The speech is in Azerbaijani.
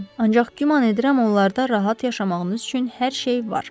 Ancaq güman edirəm onlarda rahat yaşamağınız üçün hər şey var.